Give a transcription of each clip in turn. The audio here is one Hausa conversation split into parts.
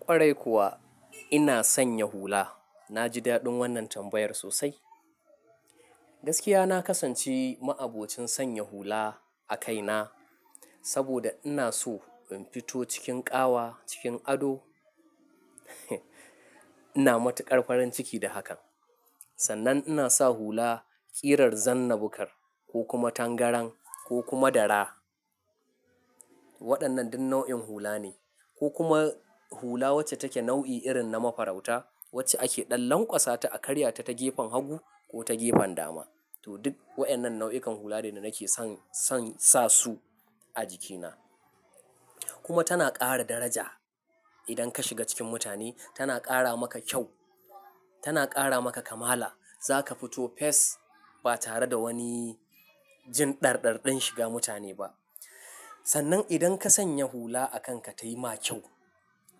Kwarai kuwa ina sanye hula. Na ji daɗin wannan tambayar sosai. Gaskiya na kasance ma abokin sanya hula a kaina saboda ina so in fito cikin ƙawa cikin ado. Ina matuƙar farin ciki da hakan. Sannan ina sa hula ƙirar zanna-bukar ko kuma tangaran ko kuma dara. Waɗannan duk nau'in hula ne ko kuma hula wacce take nau'i irin na mafarauta wacce ake ɗan lanƙwasa ta a karya ta ta gefen hagu ko ta gefen dama. To duk waɗannan nau'ikan hula ne da nake son, son sa su a jikina. Kuma tana ƙara daraja idan ka shiga cikin mutane, tana ƙara maka kyau, tana ƙara maka kamala. Za ka fito fes ba tare da wani jin ɗarɗarɗin shiga mutane ba. Sannan idan ka sanya hula a kanka ta yi ma kyau,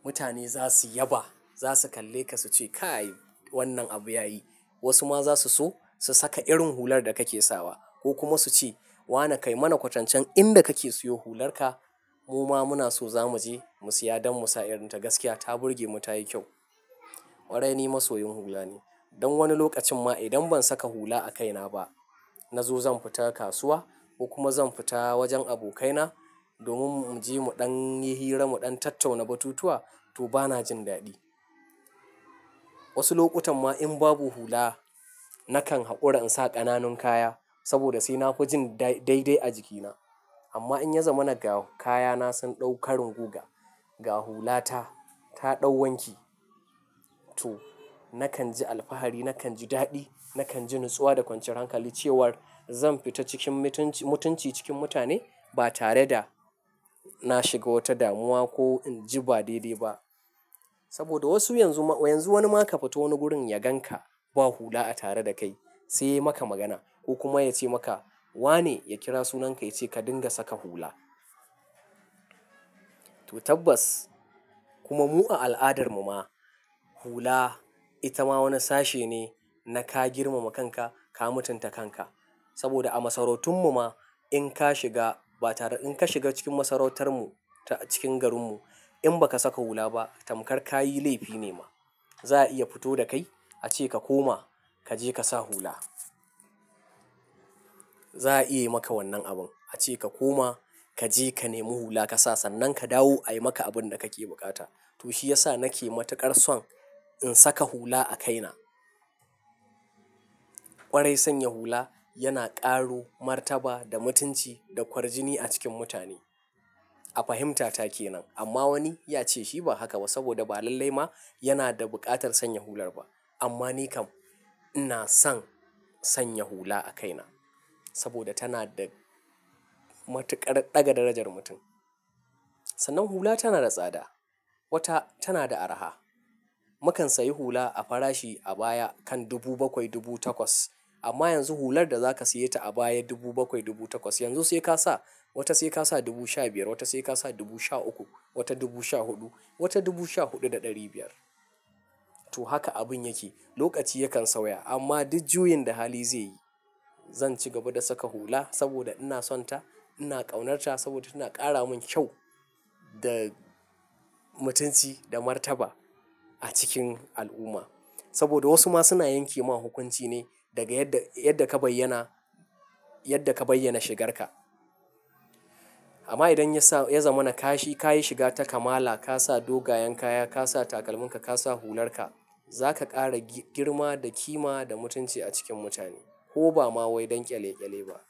mutane za su yaba, za su kalle ka su ce, "Kai wannan abu ya yi." Wasu ma za su so su saka irin hular da kake sawa ko kuma su ce, "Wane kai mana kwatancen inda kake siyo hular ka mu ma muna so za mu je mu siya don mu sa irin ta. Gaskiya ta burge mu, ta yi kyau." Kwarai ni masoyin hula ne. Don wani lokacin ma idan ban saka hula a kaina ba na zo zan fita kasuwa ko kuma zan fita wajen abokaina domin mu je mu ɗan yi hira mu ɗan tattauna batutuwa to bana jin daɗi. Wasu lokutan ma in babu hula nakan haƙura in sa ƙananun kaya saboda sai na fi jin daidai a jikina. Amma in ya zama na ga kayana sun ɗaukarin guga, ga hula ta, ta ɗau wanki to nakan ji alfahari, nakan ji daɗi, nakan ji natsuwa da kwanciyar hankali cewar zan fita cikin mutunci cikin mutane ba tare da na shiga wata damuwa ko in ji ba daidai ba. Saboda wasu yanzu ma, yanzu wani ma ka fito wani gurin ya gan ka ba hula a tare da kai sai ya yi maka magana ko kuma ya ce maka, "Wa ne?" Ya kira sunan ka ya ce ka dinga saka hula. To tabbas kuma mu a al'adarmu ma hula ita ma wani sashe ne na ka girmama kanka, ka mutunta kanka. Saboda a masarautun mu ma in ka shiga ba tare-- in ka shiga cikin masarautar mu cikin garin mu in ba ka saka hula ba tamkar ka yi laifi ne ma. Za a iya fito da kai a ce ka koma ka je ka sa hula. Za a iya yi maka wannan abun. A ce ka koma, ka je ka nemi hula ka sa sannan ka dawo ayi maka abun da kake buƙata. To shi ya sa nake matuƙar son in saka hula a kaina. Kwarai sanya hula yana ƙaro martaba da mutunci da kwarjini a cikin mutane. A fahimtata kenan. Amma wani ya ce shi ba haka ba saboda ba lalle ma yana da buƙatar sanya hular ba. Amma ni kam ina son sanya hula a kaina saboda tana da matuƙar ɗaga darajar mutum. Sannan hula tana da tsada, wata tana da araha. Mu kan sayi hula a farashi a baya kan dubu bakwai, dubu takwas amma yanzu hular da za ka siya ta a baya dubu bakwai dubu takwas yanzu sai ka sa wata sai ka sa dubu sha biyar, wata sai ka sa dubu sha uku, wata dubu sha huɗu, wata dubu sha huɗu da ɗari biyar. To haka abun yake. Lokaci yakan sauya amma duk juyin da hali zai yi zan ci gaba da saka hula saboda ina son ta, ina ƙaunarta saboda tana ƙara mun kyau da mutunci da martaba a cikin al'umma. Saboda wasu ma suna yanke ma hukunci ne daga yadda, yadda ka bayyana, yadda ka bayyana shigarka. Amma idan ya sa, ya zama na ka shi, ka yi shiga ta kamala, ka sa dogayen kaya, ka sa takalminka, ka sa hular ka, za ka ƙara girma da kima da mutunci a cikin mutane ko ba ma wai don ƙyale-ƙyale ba.